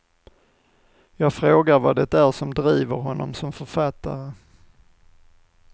Jag frågar vad det är som driver honom som författare.